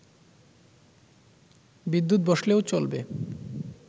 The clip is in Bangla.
বিদ্যুৎ বসলেও চলবে